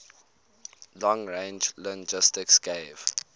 long range linguistics gave